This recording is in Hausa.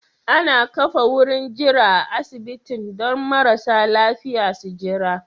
Ana ƙafa wurin jira a asibitin don marasa lafiƴa su Jira